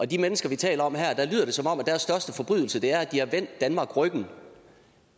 de mennesker vi taler om her lyder det som om deres største forbrydelse er at de har vendt danmark ryggen